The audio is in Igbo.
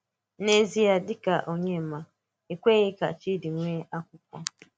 N’ézìé̄, dị̀ ka onyeàmà̄, e kwèghì̄ ka chídí̀ nweē àkwụ́kwọ́.